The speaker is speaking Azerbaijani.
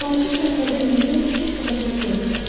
Balaca Şahzadə yenidən fikir-kərafımə göründü.